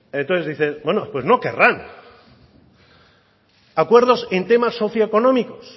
entonces dice pues no querrán acuerdo en temas socioeconómicos